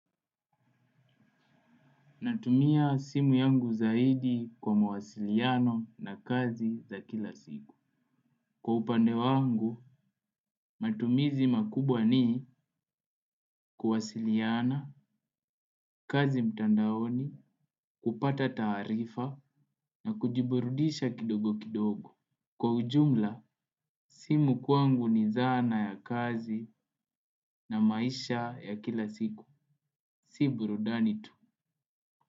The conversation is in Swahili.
Natumia simu yangu zaidi kwa mawasiliano na kazi za kila siku. Kwa upande wangu, matumizi makubwa ni kuwasiliana, kazi mtandaoni, kupata taarifa na kujiburudisha kidogo kidogo. Kwa ujumla, simu kwangu ni zana ya kazi na maisha ya kila siku. Si burudani tu.